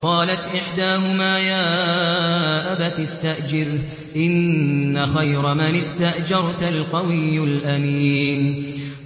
قَالَتْ إِحْدَاهُمَا يَا أَبَتِ اسْتَأْجِرْهُ ۖ إِنَّ خَيْرَ مَنِ اسْتَأْجَرْتَ الْقَوِيُّ الْأَمِينُ